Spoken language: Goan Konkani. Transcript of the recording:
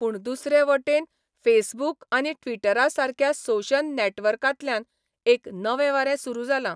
पूण दुसरे वटेन फेसबूक आनी ट्विटरासारक्या सोशन नॅटवर्कातल्यान एक नवें वारें सुरू जालां.